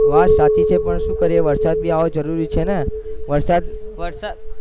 વાત સાચી છે પણ શું કરીએ વરસાદ ભી આવવો જરૂરી છે ને વરસાદ વરસાદ